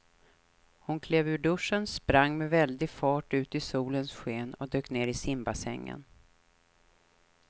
Hon klev ur duschen, sprang med väldig fart ut i solens sken och dök ner i simbassängen.